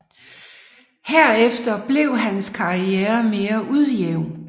Herefter blev hans karriere mere ujævn